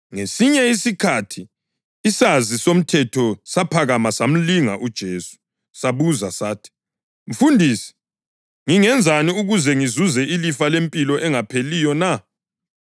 Ngesinye isikhathi isazi somthetho saphakama samlinga uJesu. Sabuza sathi, “Mfundisi, ngingenzani ukuze ngizuze ilifa lempilo engapheliyo na?”